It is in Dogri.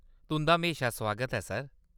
तुंʼदा म्हेशा सुआगत ऐ, सर।